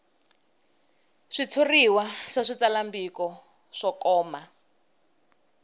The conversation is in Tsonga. switshuriwa swa switsalwambiko swo koma